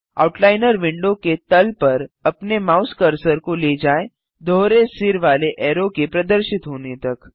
outliner window के तल पर अपने माउस कर्सर ले जाएँ दोहरे सिर वाले ऐरो के प्रदर्शित होने तक